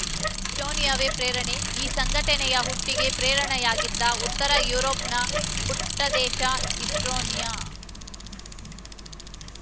ಈಸ್ಟೋನಿಯಾವೇ ಪ್ರೇರಣೆ ಈ ಸಂಘಟನೆಯ ಹುಟ್ಟಿಗೆ ಪ್ರೇರಣೆಯಾಗಿದ್ದು ಉತ್ತರ ಯುರೋಪ್‌ನ ಪುಟ್ಟದೇಶ ಈಸ್ಟೋನಿಯಾ